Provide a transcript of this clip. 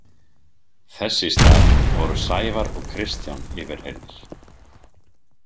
Þess í stað voru Sævar og Kristján yfirheyrðir.